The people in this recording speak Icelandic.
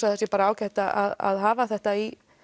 að það sé ágætt að hafa þetta í